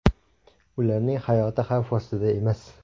Ularning hayoti xavf ostida emas.